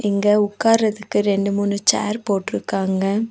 இங்க உக்காறதுக்கு ரெண்டு மூணு சேர் போட்டுருக்காங்க.